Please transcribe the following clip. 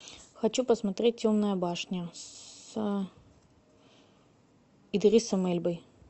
хочу посмотреть темная башня с идрисом эльбой